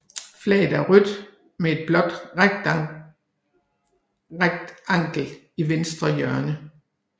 Flaget er rødt med et blåt rektangel i venstre hjørne